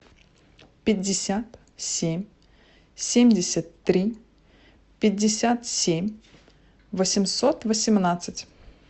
пятьдесят семь семьдесят три пятьдесят семь восемьсот восемнадцать